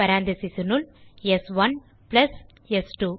parenthesesனுள் ஸ்1 பிளஸ் ஸ்2